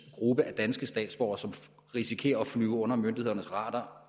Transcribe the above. gruppe af danske statsborgere som risikerer at flyve under myndighedernes radar